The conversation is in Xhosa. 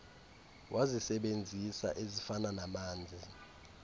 wazisebenzisa ezifana namanzi